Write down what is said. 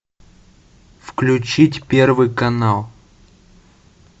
включить первый канал